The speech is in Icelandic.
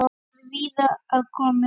Áhrifin eru víða að komin.